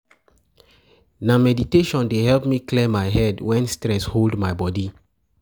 Na meditation dey help me clear my head wen stress hold my body.